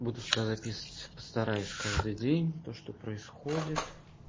буду записывать постараюсь каждый день то что происходит